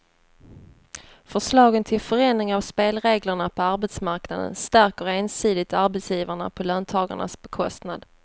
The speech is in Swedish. Förslagen till förändring av spelreglerna på arbetsmarknaden stärker ensidigt arbetsgivarna på löntagarnas bekostnad.